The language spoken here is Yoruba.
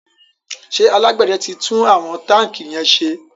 ṣe alágbède tí tún àwọn tanki yén ṣe?